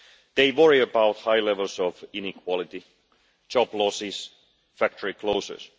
They worry about high levels of inequality, job losses, and factory closures.